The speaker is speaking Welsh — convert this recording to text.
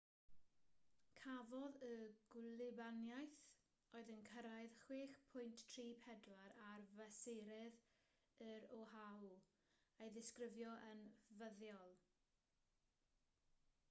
cafodd y gwlybaniaeth oedd yn cyrraedd 6.34 ar fesurydd yn oahu ei ddisgrifio yn fuddiol